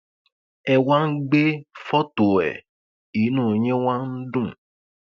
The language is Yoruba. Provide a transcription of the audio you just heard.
ẹ wá ń gbé fọtò ẹ inú yín wá ń dùn